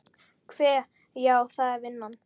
Hve. já, það er vinnan.